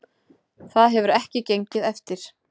Það hefur ekki gengið eftir